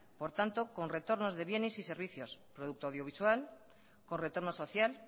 por tanto con retornos de bienes y servicios producto audiovisual con retorno social